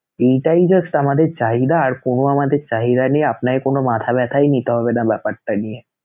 এইটাই just আমাদের চাহিদা আর কোনো আমাদের চাহিদা নেই, আপনাকে কোনো মাথা ব্যাথাই নিতে হবেনা ব্যাপারটা নিয়ে